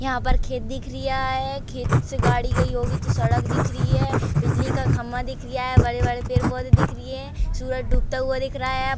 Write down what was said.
यहाँ पर खेत दिख रिया है। खेत से गाड़ी गई होगी तो सड़क दिख रही है। बिजली का खम्बा दिख रिया है। बड़े-बड़े पेड़ पौधे दिख री है। सूरज डूबता हुआ दिख रहा है। अब --